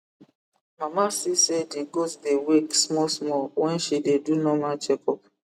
mama see say the goat dey wake small small when she dey do normal check up